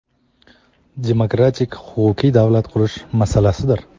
demokratik huquqiy davlat qurish masalasidir.